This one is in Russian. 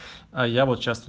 а я